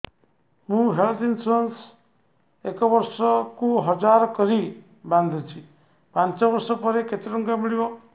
ମୁ health insurance ଏକ ବର୍ଷକୁ ହଜାର କରି ବାନ୍ଧୁଛି ପାଞ୍ଚ ବର୍ଷ ପରେ କେତେ ଟଙ୍କା ମିଳିବ